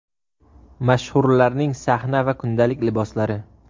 Mashhurlarning sahna va kundalik liboslari .